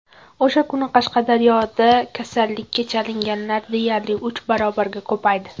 O‘sha kuni Qashqadaryoda kasallikka chalinganlar deyarli uch barobarga ko‘paydi .